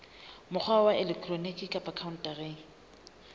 mokgwa wa elektroniki kapa khaontareng